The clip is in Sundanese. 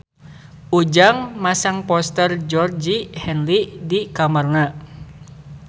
Ujang masang poster Georgie Henley di kamarna